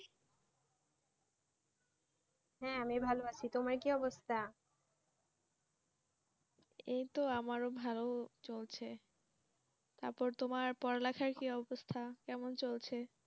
হ্যাঁ, আমি ভালো আছি। তোমার কি অবস্থা?